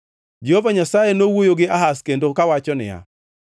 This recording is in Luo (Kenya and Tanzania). Jehova Nyasaye nowuoyo gi Ahaz kendo kawacho niya,